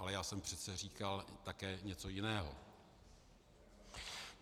Ale já jsem přece říkal také něco jiného.